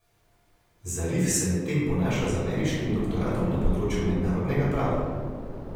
Zarif se medtem ponaša z ameriškim doktoratom na področju mednarodnega prava.